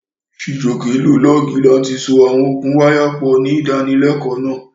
Chijioke lo lọ́ọ̀gì láti so àwọn okùn wáyà pọ̀ ní ìdánilẹ́kọ̀ọ́ náà.